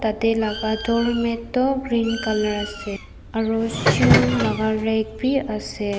yate laga doormat toh green colour ase aru shoe laga red bhi ase.